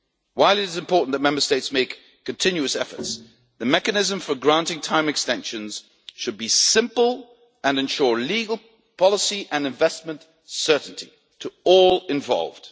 While it is important that Member States make continuous efforts, the mechanism for granting time extensions should be simple and should ensure legal, policy and investment certainty for all involved.